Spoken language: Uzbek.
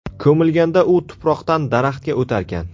Ko‘milganda u tuproqdan daraxtga o‘tarkan.